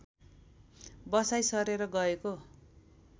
बसाई सरेर गएको